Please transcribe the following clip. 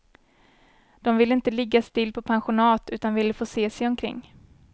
De ville inte ligga still på pensionat, utan ville få se sig omkring.